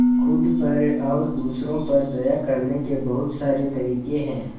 खुद पर और दूसरों पर दया करने के बहुत सारे तरीके हैं